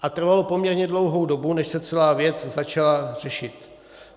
A trvalo poměrně dlouhou dobu, než se celá věc začala řešit.